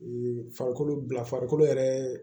farikolo bila farikolo yɛrɛ